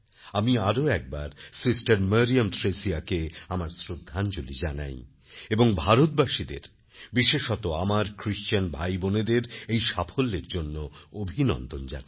আমি আরও একবার সিস্টার মারিয়াম থ্রেসিয়াকে আমার শ্রদ্ধাঞ্জলি জানাই এবং ভারতবাসীদের বিশেষত আমার খ্রিস্টান ভাইবোনেদের এই সাফল্যের জন্য অভিনন্দন জানাই